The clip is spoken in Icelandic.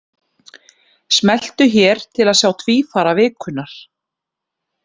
Smelltu hér til að sjá Tvífara vikunnar.